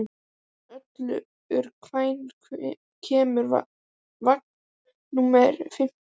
Ölvir, hvenær kemur vagn númer fimmtíu?